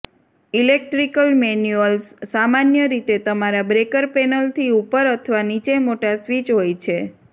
electrical manuals સામાન્ય રીતે તમારા બ્રેકર પેનલથી ઉપર અથવા નીચે મોટા સ્વિચ હોય છે